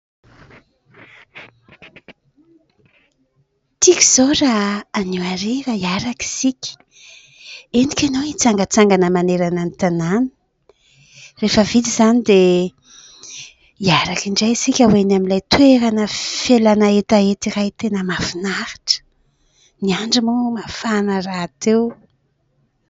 Tiako izao raha anio hariva hiaraka isika. Entiko ianao hitsangatsangana manerana ny tanàna, rehefa vita izany dia hiaraka indray isika ho eny amin'ilay toerana fialàna hetaheta iray tena mahafinaritra. Ny andro moa mafana rahateo.